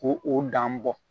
Ko o dan bɔ